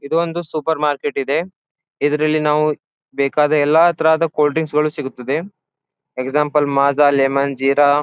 ಇದು ಒಂದು supermarket ಇದೆ ಇದರಲ್ಲಿ ನಾವು ಬೇಕಾದ ಎಲ್ಲ ತರದ್ ಕೋಲ್ಡ್ ಡ್ರಿಂಕ್ಸ್ ಸಿಗುತ್ತದೆ ಎಕ್ಸಾಮ್ಪಲ್ ಮಾಜ ಲೇಮನ್ ಝಿರಾ --